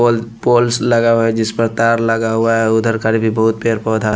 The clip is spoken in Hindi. पोल पोल्स लगा हुआ है जिस पर तार लगा हुआ है उधर कर भी बहुत पेड़ पौधा --